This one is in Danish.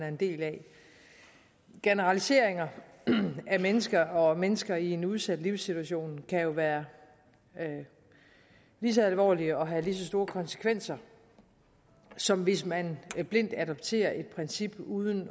en del af generaliseringer af mennesker og mennesker i en udsat livssituation kan jo være lige så alvorligt og have lige så store konsekvenser som hvis man blindt adopterer et princip uden